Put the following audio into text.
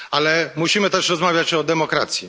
Ale musimy też rozmawiać o demokracji.